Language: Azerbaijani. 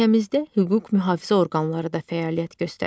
Ölkəmizdə hüquq mühafizə orqanları da fəaliyyət göstərir.